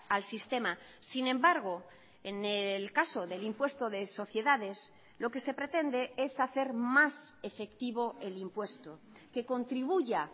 al sistema sin embargo en el caso del impuesto de sociedades lo que se pretende es hacer más efectivo el impuesto que contribuya